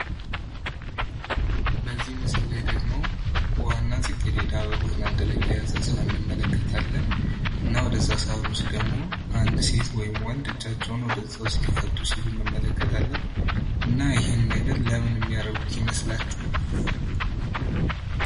በዚህ ምስል ላይ ደግሞ ውሃና ጽጌሬዳ አበባን አንድ ላይ የያዘ አንድ ሰሃን እንመለከታለን። እና ወደዛ ሰሃን ውስጥ ደግሞ አንድ ሴት ወይም ወንድ እጃቸውን ወደዛ ውስጥ ሊከቱ ሲሉ እንመለከታለን። እና ይሄን የሚያደርጉት ለምን ይመስላችኋል?